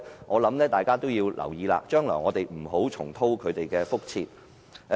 我認為大家必須留意，將來不要重蹈覆轍。